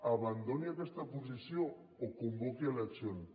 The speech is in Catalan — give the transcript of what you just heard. abandoni aquesta posició o convoqui eleccions